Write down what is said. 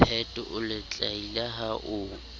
piet o letlaila ha o